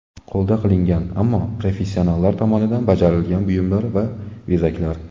Qo‘lda qilingan, ammo professionallar tomonidan bajarilgan buyumlar va bezaklar.